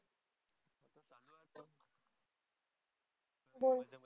हो